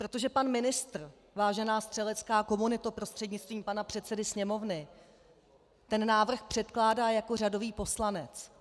Protože pan ministr, vážená střelecká komunito prostřednictvím pana předsedy Sněmovny, ten návrh předkládá jako řadový poslanec.